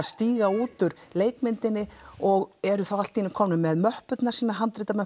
stíga út úr leikmyndinni og eru þá allt í einu komnir með möppurnar sínar